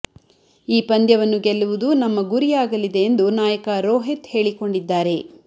ಈ ಪಂದ್ಯವನ್ನು ಗೆಲ್ಲುವುದು ನಮ್ಮ ಗುರಿಯಾಗಲಿದೆ ಎಂದು ನಾಯಕ ರೋಹಿತ್ ಹೇಳಿಕೊಂಡಿದ್ದಾರೆ